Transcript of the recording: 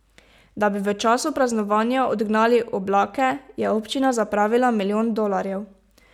Da bi v času praznovanja odgnali oblake, je občina zapravila milijon dolarjev ...